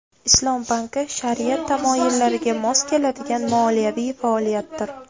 Islom banki shariat tamoyillariga mos keladigan moliyaviy faoliyatdir.